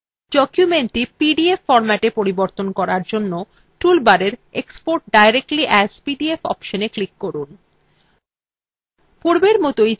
documentthe PDF ফর্ম্যাটে পরিবর্তন করার জন্য tool bar export directly as pdf অপশনএ ক্লিক করুন